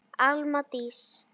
Alma Dís.